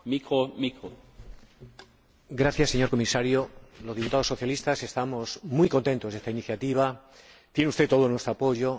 Señor Presidente, gracias, señor Comisario, los diputados socialistas estamos muy contentos con esta iniciativa tiene usted todo nuestro apoyo